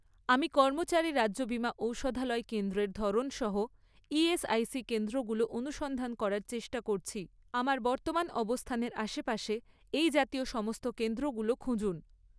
আমি কর্মচারী রাজ্য বীমা ঔষধালয় কেন্দ্রের ধরন সহ ইএসআইসি কেন্দ্রগুলো অনুসন্ধান করার চেষ্টা করছি, আমার বর্তমান অবস্থানের আশেপাশে এই জাতীয় সমস্ত কেন্দ্রগুলো খুঁজুন